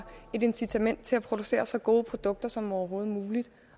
et incitament til at producere så gode produkter som overhovedet muligt